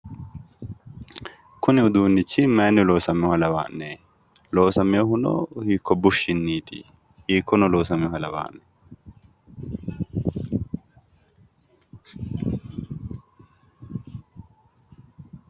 Kuni uduunnichi mayiinni loosaminoha lawanno'ne? loosamehuno hikko bushshinniti? Hikkono loosamewoha lawa'ne?